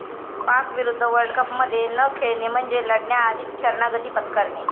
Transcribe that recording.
पाकविरुद्ध वर्ल्डकपमध्ये न खेळणे म्हणजे लढण्याआधीच शरणागती पत्करणे'